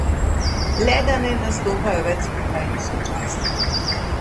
Le da ne nastopajo več skupaj in sočasno.